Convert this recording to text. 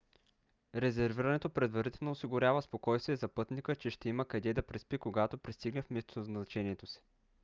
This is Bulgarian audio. резервирането предварително осигурява спокойствие за пътника че ще има къде да преспи когато пристигне в местоназначението си